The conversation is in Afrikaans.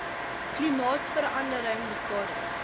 klimaatsverande ring beskadig